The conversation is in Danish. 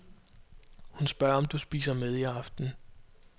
Hun spørger om du spiser med i aften.